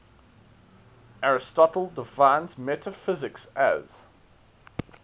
aristotle defines metaphysics as